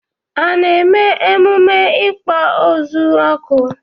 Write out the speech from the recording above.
A na-eme emume ikpo ozu oku?